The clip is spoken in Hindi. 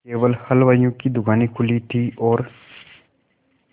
केवल हलवाइयों की दूकानें खुली थी और